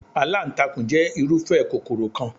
Aláǹtakùn jẹ́ irúfẹ́ kòkòrò kan.